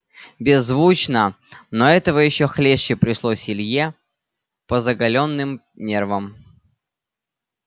беззвучно но этого ещё хлеще пришлось илье по заголённым нервам